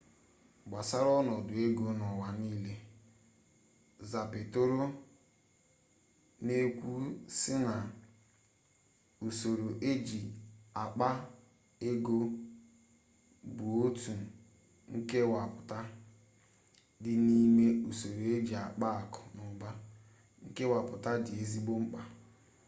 gbasara onodu ego n'uwa niile zapatero n'ekwu si na usoro eji akpa ego bu otu nkewaputa di n'ime usoro eji akpa aku n'uba nkewaputa di ezigbo mkpa